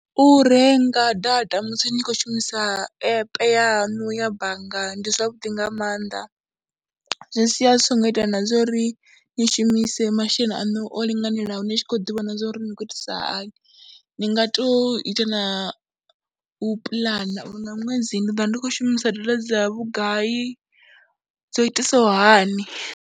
U renga data musi ni tshi khou shumisa app yaṋu ya bannga ndi zwavhuḓi nga maanḓa, zwi sia zwi songo ita na zwo ri ni shumise masheleni aṋu o linganelaho ni tshi khou ḓivhona zwo ri ni khou itisa hani, ni nga tou ita na u puḽana uri nga ṅwedzi ndi ḓo vha ndi khou shumisa data dza vhugai, dzo itisaho hani.